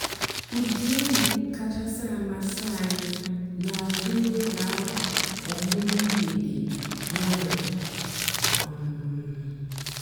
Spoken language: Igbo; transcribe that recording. ụ́dị́ ègwú kàchàsị́ àmásị́ ànyị́ n'àzụ́ n'óge àwà ọ̀mụ́mụ́ m̀gbèdé ǹwànyọ́. um